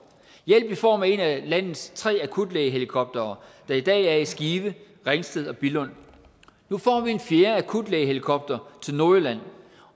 hjælp i form af en af landets tre akutlægehelikoptere der i dag er i skive ringsted og billund nu får vi en fjerde akutlægehelikopter til nordjylland